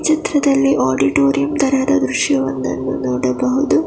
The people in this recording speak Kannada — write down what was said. ಚಿತ್ರದಲ್ಲಿ ಆಡಿಟೋರಿಯಂ ತರದ ದೃಶ್ಯವೊಂದನ್ನು ನೋಡಬಹುದು.